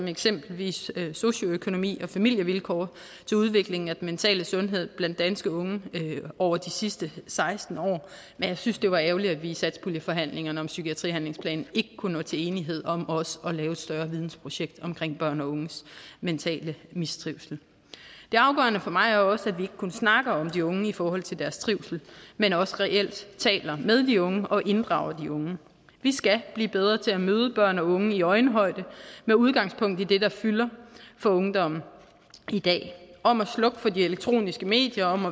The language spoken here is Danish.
eksempelvis socioøkonomi og familievilkår til udviklingen af den mentale sundhed blandt danske unge over de sidste seksten år men jeg synes det var ærgerligt at vi i satspuljeforhandlingerne om psykiatrihandlingsplanen ikke kunne nå til enighed om også at lave et større vidensprojekt omkring børn og unges mentale mistrivsel det afgørende for mig er også at vi ikke kun snakker om de unge i forhold til deres trivsel men også reelt taler med de unge og inddrager de unge vi skal blive bedre til at møde børn og unge i øjenhøjde med udgangspunkt i det der fylder for ungdommen i dag om at slukke for de elektroniske medier om